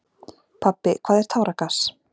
Pabbi, hvað er táragas?